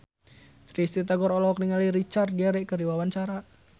Risty Tagor olohok ningali Richard Gere keur diwawancara